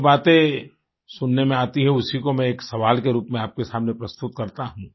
जो बातें सुनने में आती उसकी को मैं एक सवाल के रूप में आपके सामने प्रस्तुत हूँ